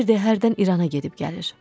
Deyirdi hərdən İrana gedib gəlir.